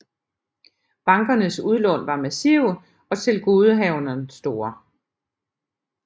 Bankernes udlån var massive og tilgodehavenderne store